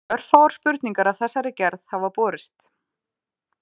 Örfáar spurningar af þessari gerð hafa borist.